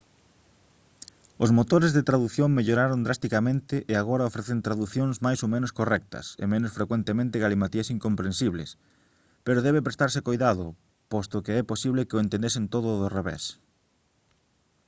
os motores de tradución melloraron drasticamente e agora ofrecen traducións máis ou menos correctas e menos frecuentemente galimatías incomprensibles pero debe prestarse coidado posto que é posible que o entendesen todo do revés